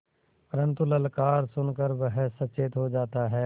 परन्तु ललकार सुन कर वह सचेत हो जाता है